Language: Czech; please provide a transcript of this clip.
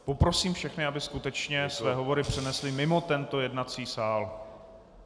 Poprosím všechny, aby skutečně své hovory přenesli mimo tento jednací sál.